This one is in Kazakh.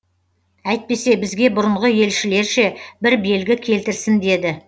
әйтпесе бізге бұрынғы елшілерше бір белгі келтірсін деді